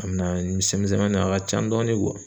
A mina misɛnmani a ka can dɔɔni